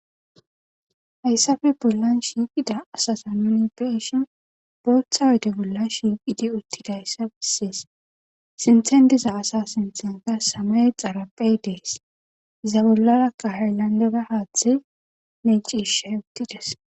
Hayissappe boollan shiqida asaza nuni beyishshin boththa oyde bolla shiqidi utidayssa besses sinththen diza asa sinthankka samaye xaraphphey des iza bolarakka hayilandera haththey mecishe utides